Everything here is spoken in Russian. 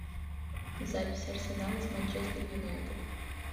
запись арсенала с манчестер юнайтед